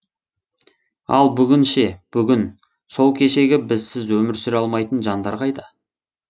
ал бүгін ше бүгін сол кешегі бізсіз өмір сүре алмайтын жандар қайда